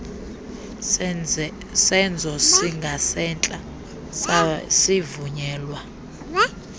senzo singasentla sasivunyelwa